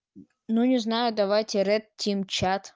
ну не знаю давайте рэд тим чат